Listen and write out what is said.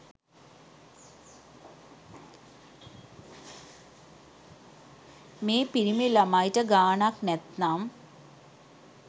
මේ පිරිමි ළමයිට ගානක් නැත්නම්